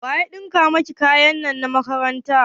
Wa ya ɗinka maki kayan makaranta?